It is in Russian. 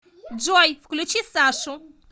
джой включи сашу